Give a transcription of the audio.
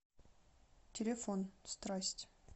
телефон страсть